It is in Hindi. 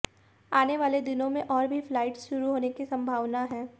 आने वाले दिनों में और भी फ्लाइट शुरू होने की संभावना है